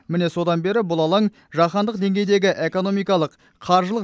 міне содан бері бұл алаң жаһандық деңгейдегі экономикалық қаржылық